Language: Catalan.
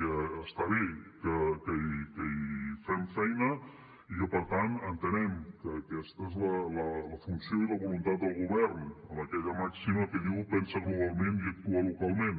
que està bé que hi fem feina i que per tant entenem que aquesta és la funció i la voluntat del govern amb aquella màxima que diu pensa globalment i actua localment